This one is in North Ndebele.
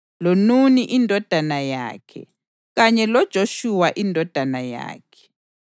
loNuni indodana yakhe kanye loJoshuwa indodana yakhe.